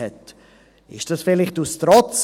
Geschah dies vielleicht aus Trotz?